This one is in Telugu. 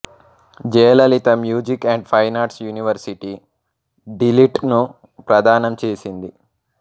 Jayalalithaa music and fine arts university D Litt ను ప్రదానం చేసింది